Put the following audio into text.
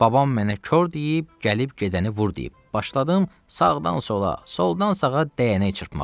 Babam mənə kor deyib, gəlib gedəni vur deyib başladım sağdan sola, soldan sağa dəyənəyi çırpmağa.